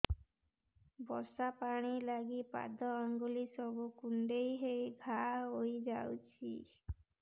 ବର୍ଷା ପାଣି ଲାଗି ପାଦ ଅଙ୍ଗୁଳି ସବୁ କୁଣ୍ଡେଇ ହେଇ ଘା ହୋଇଯାଉଛି